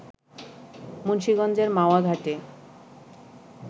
মুন্সীগঞ্জের মাওয়া ঘাটে